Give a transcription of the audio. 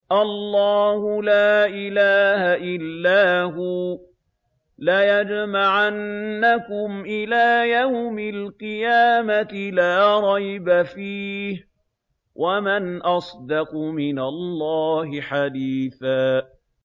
اللَّهُ لَا إِلَٰهَ إِلَّا هُوَ ۚ لَيَجْمَعَنَّكُمْ إِلَىٰ يَوْمِ الْقِيَامَةِ لَا رَيْبَ فِيهِ ۗ وَمَنْ أَصْدَقُ مِنَ اللَّهِ حَدِيثًا